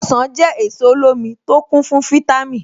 Ọ̀sán jẹ́ èso olómi tó kún fún fítámì.